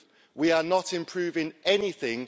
We are not improving anything.